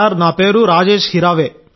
నా పేరు రాజేశ్ హిరావే